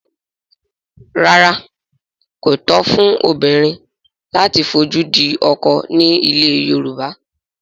Rárá, kò tọ̀nà fún obìnrin láti fojú di ọkọ ní ilẹ̀ Yorùbá